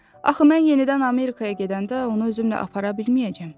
Axı mən yenidən Amerikaya gedəndə onu özümlə apara bilməyəcəm.